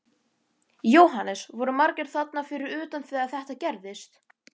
Jóhannes: Voru margir þarna fyrir utan þegar þetta gerðist?